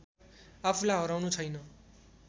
आफूलाई हराउनु छैन